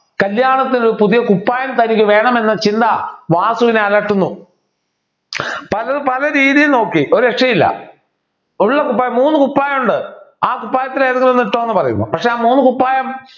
കല്യാണത്തിന് പുതിയ കുപ്പായം തനിക്ക് വേണമെന്ന ചിന്ത വാസുവിനെ അലട്ടുന്നു താനത് പലരീതിയിൽ നോക്കി ഒരു രക്ഷയില്ല ഉള്ള കുപ്പായം മൂന്നു കുപ്പായം ഉണ്ട് ആ കുപ്പായത്തിൽ ഏതെങ്കിലുമൊന്ന് ഇട്ടോന്നു പറയുന്നു പക്ഷേ ആ മൂന്ന് കുപ്പായം